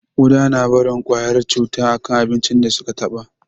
Ƙuda na barin kwayar cuta a kan abincin da su ka taɓa